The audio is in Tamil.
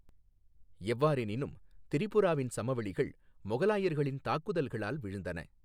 எவ்வாறெனினும், திரிபுராவின் சமவெளிகள் மொகலாயர்களின் தாக்குதல்களால் வீழ்ந்தன.